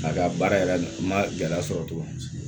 A ka baara yɛrɛ ma gɛlɛya sɔrɔ tugun